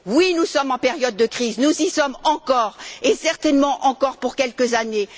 Oui, nous sommes en période de crise, nous y sommes encore et certainement encore pour quelques années.